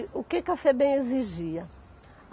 O que que a Febem exigia?